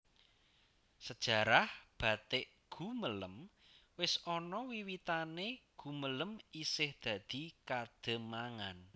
Sejarah batik Gumelem wis ana wiwitanè Gumelem isih dadi Kademangan